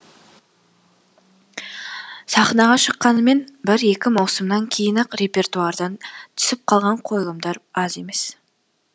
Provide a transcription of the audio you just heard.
сахнаға шыққанымен бір екі маусымнан кейін ақ репертуардан түсіп қалған қойылымдар аз емес